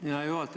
Hea juhataja!